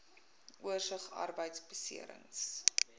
oorsig arbeidbeserings